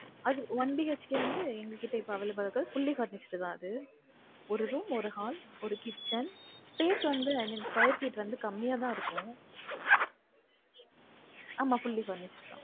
அது One BHK க்கு வந்து எங்க கிட்ட இப்ப available ஆ இருக்கு fully furnished தான் அது ஒரு room ஒரு hall ஒரு kitchen place வந்து i mean square feet கம்மிய தான்இருக்கு ஆமா fully furnished தான்